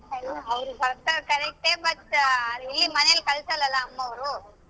ಹೌದ್ ಬರ್ತಾರ correct but ಇಲ್ಲಿ ಮನೇಲಿ ಕಳಸಲ್ಲ ಅಲ್ಲಾ ಅಮ್ಮವ್ರು.